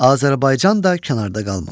Azərbaycan da kənarda qalmadı.